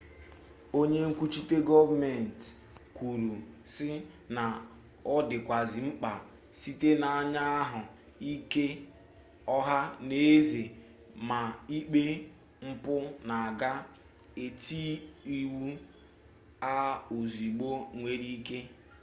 onye nkwuchite goomenti kwuru si na o dikwazi mkpa site na anya ahu ike oha n'eze ma ikpe mpu na aga eti iwu a ozugbo enwere ike